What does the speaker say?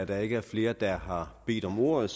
der ikke er flere der har bedt om ordet